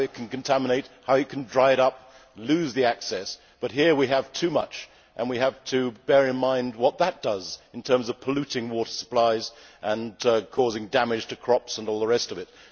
how it can contaminate, how it can dry it up, lose the access, but here we have too much and we have to bear in mind what that does in terms of polluting water supplies and causing damage to crops and all the rest of it.